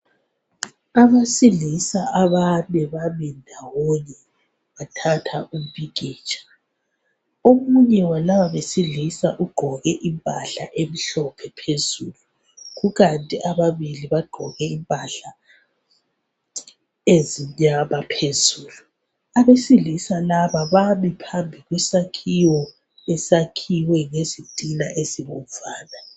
abesilisa abane bame ndawone bathatha umpikitsha omunye walaba besilisa ugqoke impahla emhlophe phezulu kukanti ababili bagqoke impahla ezimnyama bezulu abesilisa laba bami phambi kwesakhiwo esiwakhwe ngezitina ezibomvana